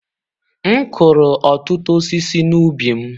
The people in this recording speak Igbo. M kụrụ ọtụtụ osisi n'ubi m.